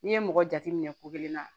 N'i ye mɔgɔ jate minɛ ko kelen na